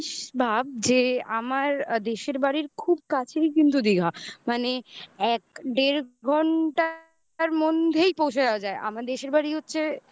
কিন্তু তুই একটা জিনিস ভাব যে আমার দেশের বাড়ির খুব কাছেরই কিন্তু দীঘা. মানে এক দেড় ঘণ্টা তার মধ্যেই পৌঁছে যাওয়া যায়. আমার দেশের বাড়ি হচ্ছে